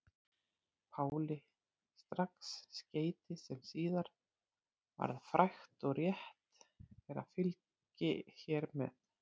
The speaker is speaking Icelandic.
Páli strax skeyti sem síðar varð frægt og rétt er að fylgi hér með.